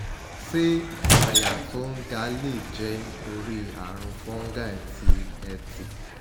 se aya to n ga le je tori arun fungi ti eti?